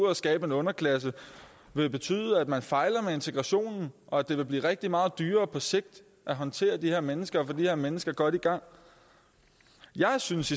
at skabe en underklasse vil betyde at man fejler med integrationen og at det vil blive rigtig meget dyrere på sigt at håndtere de her mennesker og de her mennesker godt i gang jeg synes